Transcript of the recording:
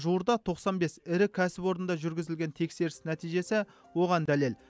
жуырда тоқсан бес ірі кәсіпорында жүргізілген тексеріс нәтижесі оған дәлел